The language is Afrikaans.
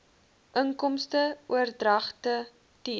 inkomste oordragte t